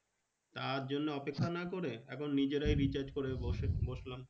তার জন্য অপেক্ষা না করে, এখন নিজেরাই recharge করে বসে বসলাম।